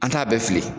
An t'a bɛɛ fili